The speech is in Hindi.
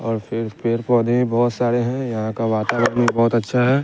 और फिर पेर पौधे भी बहोत साड़े है यहाँ का वातावरण भी बहोत अच्छा है।